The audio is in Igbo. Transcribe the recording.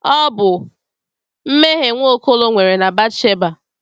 Ọ bụ mmehie Nwaokolo nwere na Bathsheba.